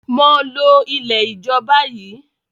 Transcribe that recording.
mọ ló ilẹ̀ ijọ bayí!